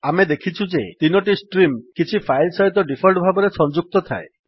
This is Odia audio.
ଆମେ ଦେଖିଛୁ ଯେ 3 ଟି ଷ୍ଟ୍ରିମ୍ କିଛି ଫାଇଲ୍ ସହିତ ଡିଫଲ୍ଟ୍ ଭାବରେ ସଂଯୁକ୍ତ ଥାଏ